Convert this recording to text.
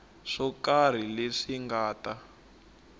swo karhi leswi nga ta